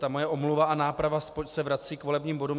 Ta moje omluva a náprava se vrací k volebním bodům.